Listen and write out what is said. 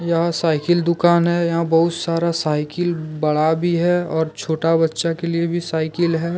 यहां साइकिल दुकान है यहां बहुत सारा साइकिल बड़ा भी है और छोटा बच्चा के लिए भी साइकिल है।